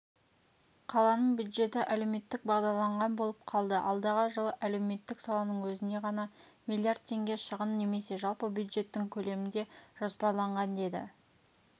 қаланың бюджеті әлеуметтік бағдарланған болып қалды алдағы жылы әлеуметтік саланың өзіне ғана миллиард теңге шығын немесе жалпы бюджеттің көлемінде жоспарланған деді